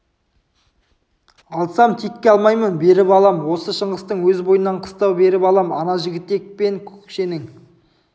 алсам текке алмаймын беріп алам осы шыңғыстың өз бойынан қыстау беріп алам ана жігітек пен көкшенің